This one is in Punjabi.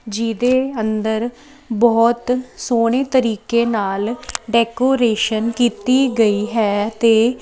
ਜਿਹਦੇ ਅੰਦਰ ਬਹੁਤ ਸੋਹਣੇ ਤਰੀਕੇ ਨਾਲ ਡੈਕੋਰੇਸ਼ਨ ਕੀਤੀ ਗਈ ਹੈ ਤੇ--